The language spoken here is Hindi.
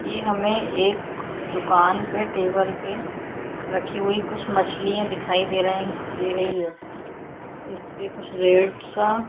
ये हमे एक दुकान के टेबल पे रखी हुई कुछ मछलिया दिखाई दे रही दे रही है। इस्पे कुछ रेड सा--